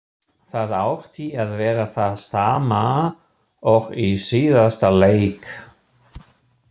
Það átti að vera það sama og í síðasta leik!